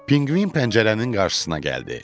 Pinqvin pəncərənin qarşısına gəldi.